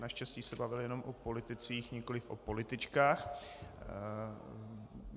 Naštěstí se bavil jenom o politicích, nikoliv o političkách.